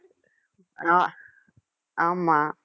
அஹ் ஆமா